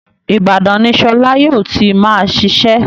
Ìbadàn ni Sọlá yóò ti máa ṣiṣẹ́